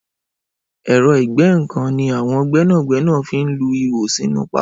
Ẹrọ igẹ̀nnkán ni awọn gbẹnágbẹná fi n lú iwó sinú pákó